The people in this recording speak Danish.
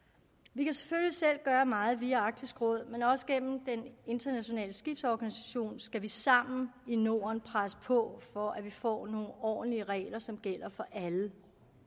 vi kan selvfølgelig selv gøre meget via arktisk råd men også gennem den internationale skibsorganisation skal vi sammen i norden presse på for at vi får nogle ordentlige regler som gælder for alle